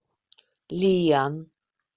лиян